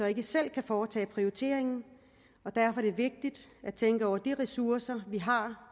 ikke selv kan foretage prioriteringen og derfor er det vigtigt at tænke over de ressourcer vi har